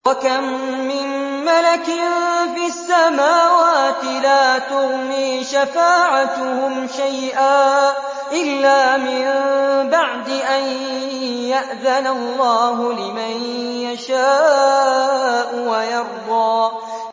۞ وَكَم مِّن مَّلَكٍ فِي السَّمَاوَاتِ لَا تُغْنِي شَفَاعَتُهُمْ شَيْئًا إِلَّا مِن بَعْدِ أَن يَأْذَنَ اللَّهُ لِمَن يَشَاءُ وَيَرْضَىٰ